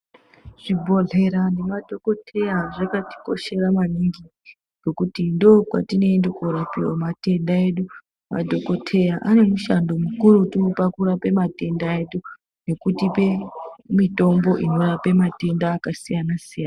Zvibhohleya nemadhokodheya zvakati koshera maningi kuti ndokwatinoenda korapiwa matenda edu madhokodheya ane mishando mikurutu pakurapa Matenda edu nekutipa Mitombo yematenda akasiyana siyana.